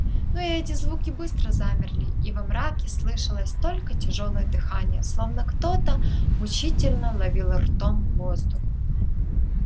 но и эти звуки быстро замерли и во мраке слышалось только тяжёлое дыхание словно кто то мучительно ловил ртом воздух